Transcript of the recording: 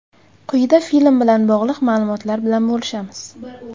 Quyida film bilan bog‘liq ma’lumotlar bilan bo‘lishamiz .